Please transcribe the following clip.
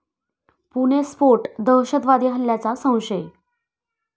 पुणे स्फोट दहशतवादी हल्ल्याचा संशय